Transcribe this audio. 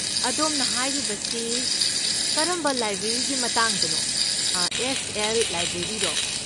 ꯑꯗꯣꯝꯅ ꯍꯥꯏꯔꯤꯕꯁꯤ ꯀꯔꯝꯕ ꯂꯥꯏꯕ꯭ꯔꯦꯔꯤꯒꯤ ꯃꯇꯥꯡꯗꯅꯣ, ꯑꯦꯁ. ꯑꯦꯜ. ꯂꯥꯏꯕ꯭ꯔꯦꯔꯤꯔꯣ?